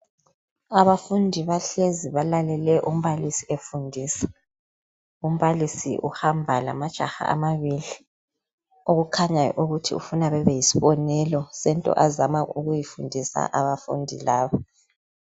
Abafundi bahlezi balalele umbalisi efundisa, umbalisi uhamba lamajaha amabili okukhanyayo ukuthi ufuna bebe yisibonelo sento azama ukuyifundisa abafundi laba.